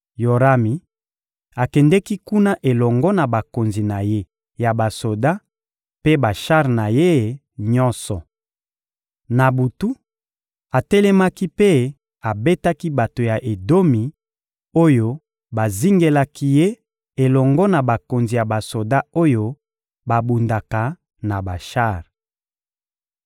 Yorami akendeki kuna elongo na bakonzi na ye ya basoda mpe bashar na ye nyonso. Na butu, atelemaki mpe abetaki bato ya Edomi oyo bazingelaki ye elongo na bakonzi ya basoda oyo babundaka na bashar.